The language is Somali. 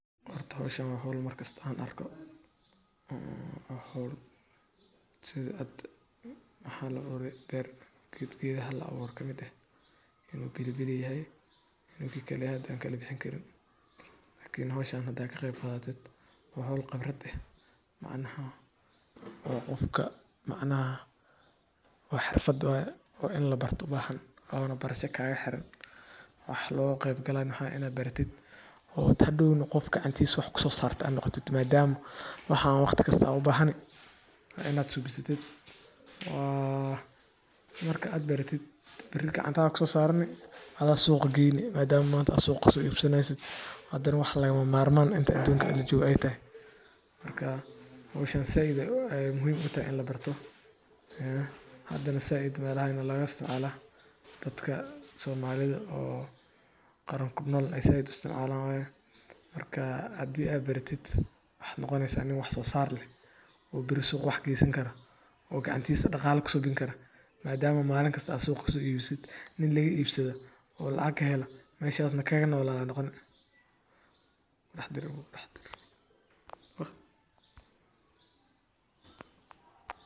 Horta howshan waa howl mar kasta aan arko oo u bahan oo geedka la abure uu pilipili yahay makala bixin kari. Habkan wuxuu caawiyaa koboca dhirta, gaar ahaan dhir yar-yar sida yaanyada, basasha, dhir udgoon, ama dhir ubax leh. Sidoo kale, waa hab fudud oo dhaqaalihiisa yar yahay, isla markaana qof walba u sahlan in uu kaga qaybqaato horumarinta deegaanka iyo cunno beereed caafimaad leh.